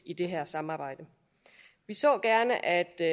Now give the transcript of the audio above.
i det her samarbejde vi så gerne at der